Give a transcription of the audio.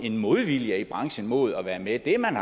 en modvilje i branchen mod at være med det man